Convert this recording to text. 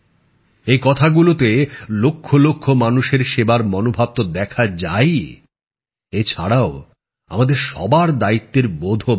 এই কথাগুলোতে লক্ষলক্ষ মানুষের সেবার মনোভাব তো দেখা যায়ই এছাড়াও আমাদের সবার দায়িত্বের বোধও বাড়ে